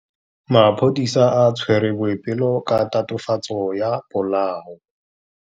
Maphodisa a tshwere Boipelo ka tatofatsô ya polaô.